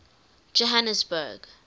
johannesburg